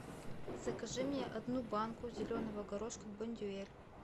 закажи мне одну банку зеленого горошка бондюэль